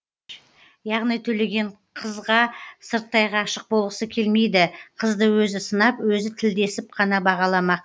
яғни төлеген қызға сырттай ғашық болғысы келмейді қызды өзі сынап өзі тілдесіп қана бағаламақ